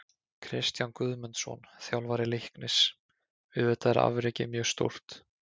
Kristján Guðmundsson, þjálfari Leiknis: Auðvitað er afrekið mjög stórt.